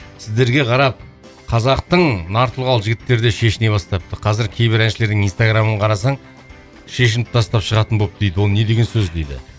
сіздерге қарап қазақтың нар тұлғалы жігіттері де шешіне бастапты қазір кейбір әншілердің инстаграмын қарасаң шешініп тастап шығатын болыпты дейді ол не деген сөз дейді